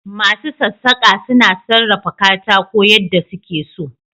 Masu sassaka suna sarrafa katako yadda suke so.